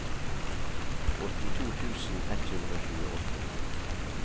åttito tusen ett hundre og tjueåtte